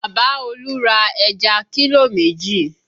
Bàbá Olú ra ẹja kílò méjì